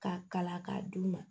K'a kala k'a d'u ma